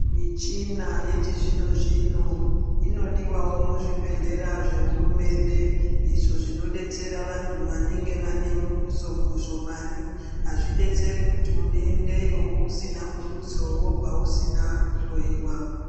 Michina yechizvino zvino, inodiwawo muzvibhedhlera zvehurumende , izvo zvinodetsera vantu vanenge vanemudusodudo mushomani. Hazvidetseri kuti unendeyo usina mudutso wobva usina kuhloyiwa.